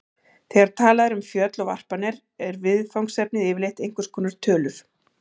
Þegar talað er um föll og varpanir er viðfangsefnið yfirleitt einhvers konar tölur.